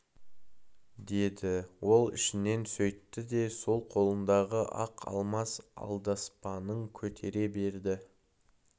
деді ол ішінен сөйтті де сол қолындағы ақ алмас алдаспанын көтере берді